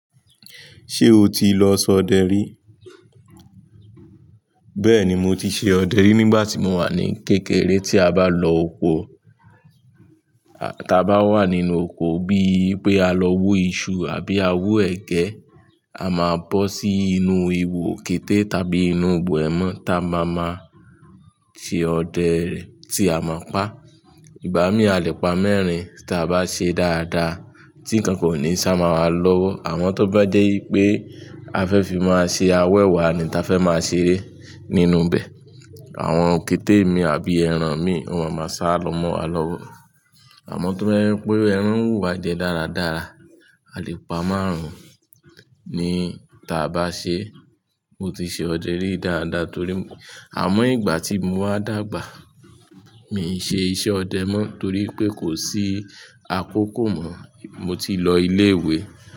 Ṣé o ti lọ sọ ọdẹ rí? Bẹ́ẹ̀ni mo ti ṣe ọdẹ rí nígbà tí mo wà ní kékeré. Tí a bá lọ oko, ta bá wà nínú oko bíi pé a lọ wu iṣu àbí a wu ẹgẹ, a máa bọ́ sí inú ihò kété tàbí inú ibo ẹmọ́ ta máma ma ṣe ọdẹ rẹ tí a máa pa. Ìgbà mí alepa mẹ́rin ta bá ṣe dáadáa tí ìkankan o ní sá mọ wá lọ́wọ́. Àmọ́ tó bá jẹ́ wipé a fẹ́ fi mọ se awẹwa ni ta fẹ́ máa ṣeré nínú bẹ̀. Àwọn òkété mi àbí ẹran mi wọn máa ma sá lọ mọ wa lọ́wọ́. Àmọ́ tó bá jẹ́ pé ẹran n wu wá jẹ dáradára, alepa márùn-ún ni ta bá ṣe. Mo ti ṣe ọdẹ rí dáadáa torí, àmọ́ ìgbà tí mo wá dàgbà, mi i ṣe iṣẹ́ ọdẹ mọ́ torí pé kò sí akókò mọ́. Mo ti lọ ilé ìwé.